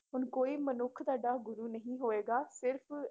ਹੁਣ ਕੋਈ ਮਨੁੱਖ ਤੁਹਾਡਾ ਗੁਰੂ ਨਹੀਂ ਹੋਏਗਾ ਸਿਰਫ਼